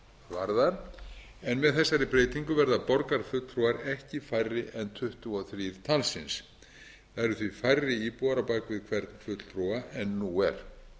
varðar en með þessari breytingu verða borgarfulltrúar ekki færri en tuttugu og þrjú talsins það eru því færri íbúar á bak við hvern fulltrúa en nú er